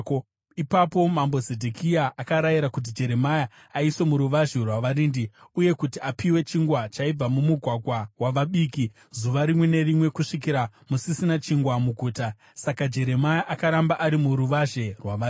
Ipapo mambo Zedhekia akarayira kuti Jeremia aiswe muruvazhe rwavarindi uye kuti apiwe chingwa chaibva mumugwagwa wavabiki zuva rimwe nerimwe kusvikira musisina chingwa muguta. Saka Jeremia akaramba ari muruvazhe rwavarindi.